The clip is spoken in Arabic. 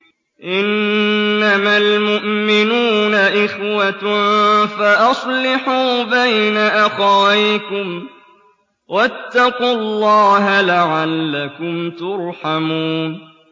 إِنَّمَا الْمُؤْمِنُونَ إِخْوَةٌ فَأَصْلِحُوا بَيْنَ أَخَوَيْكُمْ ۚ وَاتَّقُوا اللَّهَ لَعَلَّكُمْ تُرْحَمُونَ